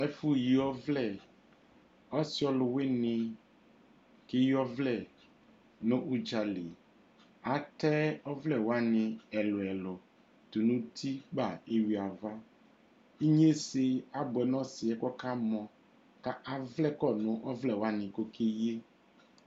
Ɔsi ɔlʋwini keyi ɔvlɛ nʋ udzali Atɛ ɔvlɛ wani ɛlʋ ɛlʋ tʋnʋ uti kpa yeyui ava Ignesɛ abuɛ nʋ ɔsi yɛ ka avlɛ kɔ nʋ ɔvlɛ wani kʋ okeyiyɛ